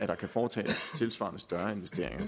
der kan foretages tilsvarende større investeringer